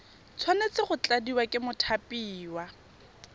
tshwanetse go tladiwa ke mothapiwa